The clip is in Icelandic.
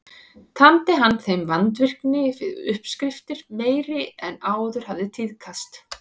Tamdi hann þeim vandvirkni við uppskriftir meiri en áður hafði tíðkast.